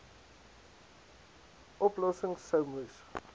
oplossings sou moes